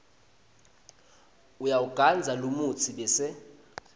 uyawugandza lomutsi bese